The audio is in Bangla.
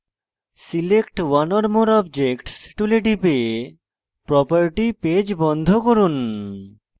select one or more objects tool টিপে property পেজ বন্ধ করুন